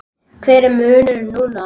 Hver er munurinn núna?